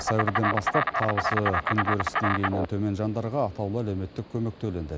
сәуірден бастап табысы күнкөріс деңгейінен төмен жандарға атаулы әлеуметтік көмек төленді